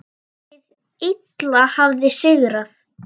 Hið illa hafði sigrað.